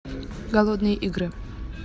голодные игры